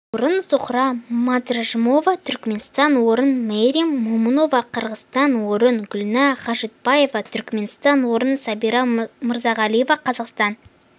орын зухра мадражмова түркменстан орын мээрим момунова қырғызстан орын гүлнар хажитбаева түркменстан орын сабира мырзағалиева қазақстан